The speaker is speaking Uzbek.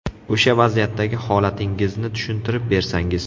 O‘sha vaziyatdagi holatingizni tushuntirib bersangiz?